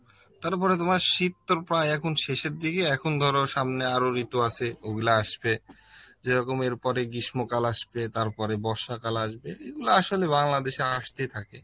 তারপরে তোমার শীত তো প্রায় এখন শেষের দিকে এখন ধর সামনে আরো ঋতু আছে ওগুলো আসবে, যেরকম এর পরে গ্রীষ্ম কাল আসবে তারপরে বর্ষা কাল আসবে, এগুলো আসলে বাংলাদেশে আসতেই থাকে